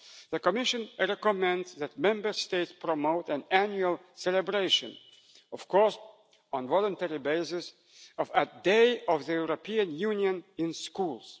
The Commission recommends that Member States promote an annual celebration of course on a voluntary basis of a Day of the European Union in schools.